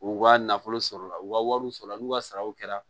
U ka nafolo sɔrɔ la u ka wariw sɔrɔla n'u ka saraw kɛra